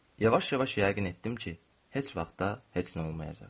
Yavaş-yavaş yəqin etdim ki, heç vaxt da heç nə olmayacaq.